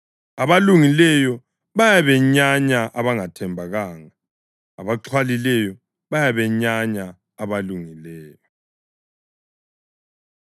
Abalungileyo bayabenyanya abangathembekanga; abaxhwalileyo bayabenyanya abalungileyo.